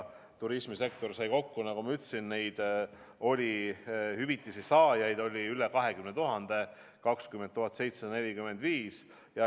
Turismisektori kogukulu oli 36 792 740 eurot.